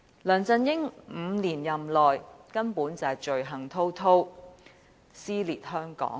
梁振英在其5年任內根本罪行滔滔，撕裂香港。